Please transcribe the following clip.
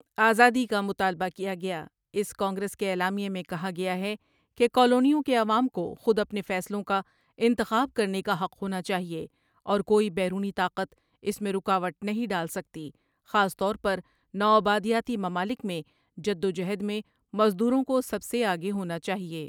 آزادی کا مطالبہ کیا گیا اس کانگریس کے اعلامیے میں کہا گیا ہے کہ کالونیوں کے عوام کو خود اپنے فیصلوں کا انتخاب کرنے کا حق ہونا چاہئے اور کوئی بیرونی طاقت اس میں رکاوٹ نہیں ڈال سکتی خاص طور پر نوآبادیاتی ممالک میں جدوجہد میں مزدوروں کو سب سے آگے ہونا چاہئے